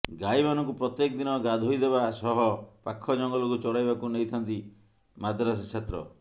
ଗାଈମାନଙ୍କୁ ପ୍ରତ୍ୟେକ ଦିନ ଗାଧୋଇ ଦେବା ସହ ପାଖ ଜଙ୍ଗଲକୁ ଚରାଇବାକୁ ନେଇଥାନ୍ତି ମଦ୍ରାସା ଛାତ୍ର